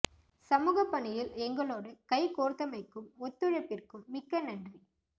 சமூக பணியில் எங்களோடு கைக்கோரத்தமைக்கும் ஒத்துழைப்பிற்கும் மிக்க நன்றி